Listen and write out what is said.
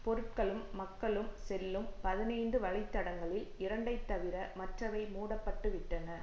பொருட்களும் மக்களும் செல்லும் பதினைந்து வழித்தடங்களில் இரண்டைத்தவிர மற்றவை மூட பட்டுவிட்டன